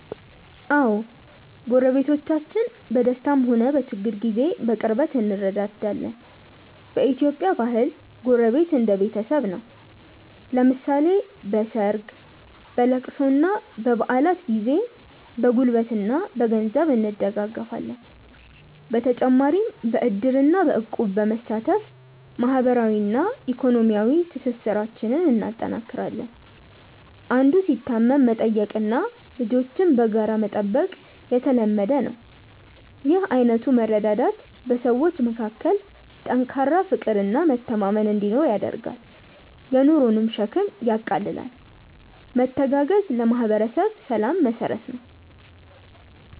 አዎ፣ ጎረቤቶቻችን በደስታም ሆነ በችግር ጊዜ በቅርበት እንረዳዳለን። በኢትዮጵያ ባህል ጎረቤት እንደ ቤተሰብ ነው፤ ለምሳሌ በሰርግ፣ በልቅሶና በበዓላት ጊዜ በጉልበትና በገንዘብ እንደጋገፋለን። በተጨማሪም በዕድርና በእቁብ በመሳተፍ ማህበራዊና ኢኮኖሚያዊ ትስስራችንን እናጠናክራለን። አንዱ ሲታመም መጠየቅና ልጆችን በጋራ መጠበቅ የተለመደ ነው። ይህ አይነቱ መረዳዳት በሰዎች መካከል ጠንካራ ፍቅርና መተማመን እንዲኖር ያደርጋል፤ የኑሮንም ሸክም ያቃልላል። መተጋገዝ ለማህበረሰብ ሰላም መሰረት ነው።